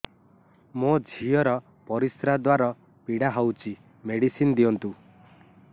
ମୋ ଝିଅ ର ପରିସ୍ରା ଦ୍ଵାର ପୀଡା ହଉଚି ମେଡିସିନ ଦିଅନ୍ତୁ